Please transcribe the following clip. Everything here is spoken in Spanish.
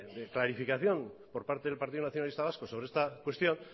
clarificación por parte del partido nacionalista vasco sobre esta cuestión